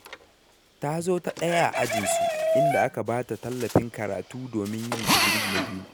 Ta zo ta ɗaya a ajinsu, inda aka ba ta tallafin karatu domin yin digiri na biyu.